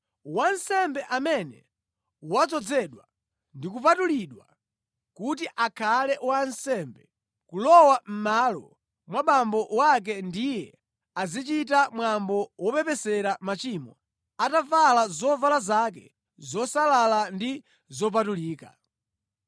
Wansembe amene wadzozedwa ndi kupatulidwa kuti akhale wansembe kulowa mʼmalo mwa abambo ake ndiye azichita mwambo wopepesera machimo atavala zovala zake zosalala ndi zopatulika.